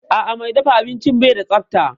A'a, mai dafa abincin bai da tsafta